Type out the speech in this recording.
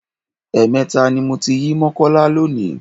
Ẹ̀ẹ̀mẹta ni mo ti yí Mọ́kọ́lá lónìí.